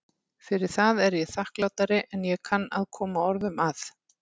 Fyrir það er ég þakklátari en ég kann að koma orðum að.